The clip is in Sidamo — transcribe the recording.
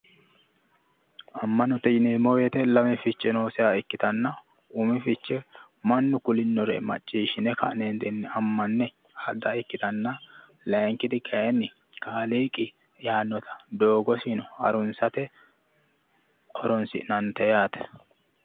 Amma'note yineemmo woyiite Lame Fiche nooseha ikkitanna mannu kulinore macciishine ka'neentinni amma'ne adda ikkitanna layiinkiti kayiinni kaaliiqi yaannota doogosino harunsate horonsi'nannite yaate.